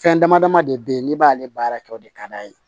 Fɛn dama dama de be yen n'i b'ale baara kɛ o de ka d'a ye